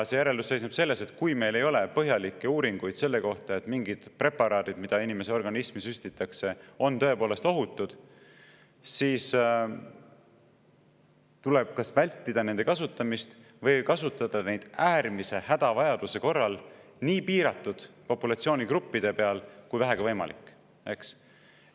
See järeldus seisneb selles, et kui meil ei ole põhjalikke uuringuid selle kohta, et mingid preparaadid, mida inimese organismi süstitakse, on tõepoolest ohutud, siis tuleb kas vältida nende kasutamist või kasutada neid äärmise vajaduse korral nii piiratud populatsioonigruppide peal kui vähegi võimalik, eks.